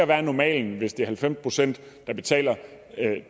der er normalen hvis det er halvfems pct der betaler